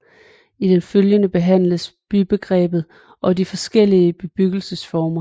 I det følgende behandles bybegrebet og de forskellige bebyggelsesformer